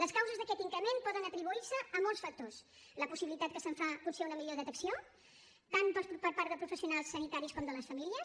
les causes d’aquest increment poden atribuir se a molts factors la possibilitat que se’n fa potser una millor detecció tant per part de professionals sanitaris com de les famílies